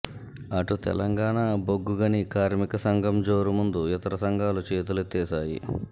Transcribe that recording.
అటు తెలంగాణ బొగ్గుగని కార్మికసంఘం జోరు ముందు ఇతర సంఘాలు చేతులెత్తేశాయి